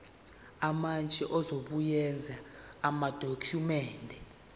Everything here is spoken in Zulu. umantshi uzobuyekeza amadokhumende